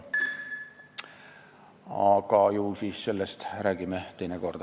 Aga ju siis sellest räägime teine kord.